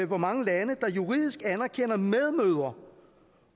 hvor mange lande der juridisk anerkender medmødre